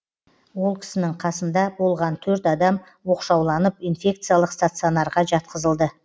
ол кісінің қасында болған төрт адам оқшауланып инфекциялық стационарға жатқызылды